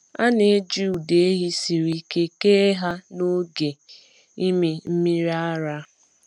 A na-eji ụdọ ehi siri ike kee ha n’oge ịmị mmiri ara.